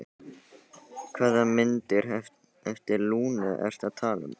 Hvaða myndir eftir Lúnu ertu að tala um?